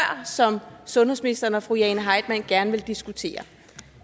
som sundhedsministeren og fru jane heitmann gerne vil diskutere